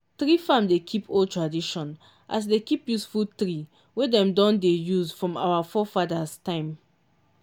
tree farm dey keep old tradition as e dey keep useful tree wey dem don dey use from our forefathers' time.